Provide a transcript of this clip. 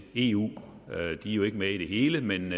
eu de er jo ikke med i det hele men